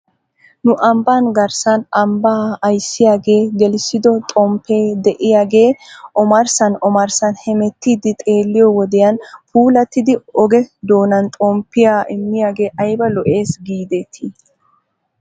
Nu ambbaa garssan ambbaa ayssiyaagee gelissido xomppee de'iyaagee omarssan omarssan hemetetiidi xeeliyoo wodiyan puulattidi oge doonan xomppiyaadmgee ayba lo'es giidetii?